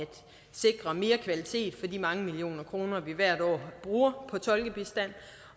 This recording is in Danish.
sikre mere kvalitet for de mange millioner kroner vi hvert år bruger på tolkebistand